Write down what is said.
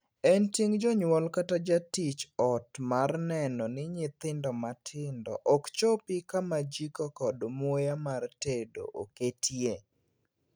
En ting' jonyuol kata jatij ot mar neno ni nyithindo matindo ok chopi kama jiko kod muya mar tedo oketie.